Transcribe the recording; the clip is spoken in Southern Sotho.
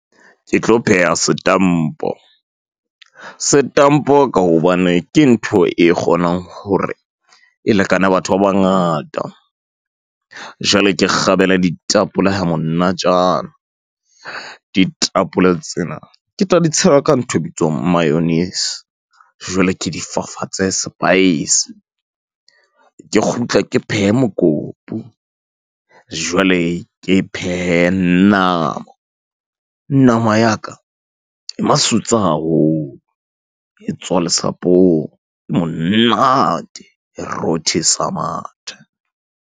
Ke tlo pheha setampo. Setampo ka hobane ke ntho e kgonang hore e lekane batho ba bangata. Jwale ke kgabele ditapole ha monatjana, ditapole tsena ke tla di tshela ka ntho e bitswang mayonnaise, jwale ke di fafatse spice, Ke kgutle ke phehe mokopu, jwale ke phehe nama, nama ya ka e masutsa haholo, e tswa le sapong, e monate, e rothisa mathe.